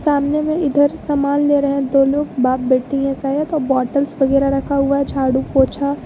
सामने में इधर सामान ले रहे हैं दो लोग बाप बेटी है शायद तो बॉटल्स वगैरा रखा हुआ है झाड़ू पोछा--